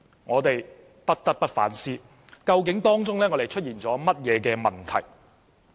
我們不得不反思，究竟出現了甚麼問題。